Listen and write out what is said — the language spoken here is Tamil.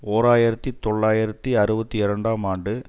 ஓர் ஆயிரத்தி தொள்ளாயிரத்தி அறுபத்தி இரண்டாம் ஆண்டு